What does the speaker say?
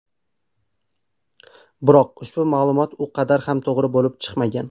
Biroq ushbu ma’lumot u qadar ham to‘g‘ri bo‘lib chiqmagan.